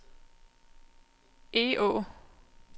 Egå